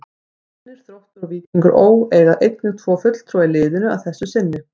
Fjölnir, Þróttur og Víkingur Ó. eiga einnig tvo fulltrúa í liðinu að þessu sinni.